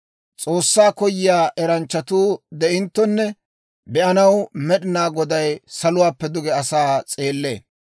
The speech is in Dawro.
S'oossaa koyiyaa eranchchatuu de'inttonne be'anaw, Med'inaa Goday saluwaappe duge asaa s'eellee.